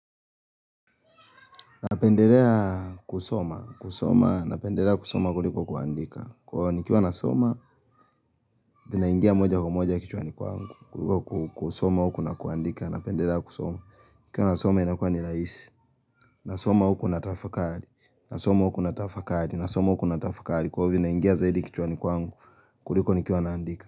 Napendelea kusoma. Kusoma, napendelea kusoma kuliko kuandika. Kwa hiyo nikiwa nasoma, vinaingia moja kwa moja kichwani kwangu, kuliko ku kusoma huku na kuandika. Napendelea kusoma. Ikiwa nasoma inakuwa ni rahisi, nasoma huku natafakari. Nasoma huku na trafakari. Nasoma huku natafakari. Kwa hiyo vinaingia zaidi kichwani kwangu. Kuliko nikiwa naandika.